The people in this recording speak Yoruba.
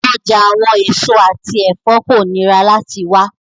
Ọja awọn eso ati ẹfọ ko nira lati wa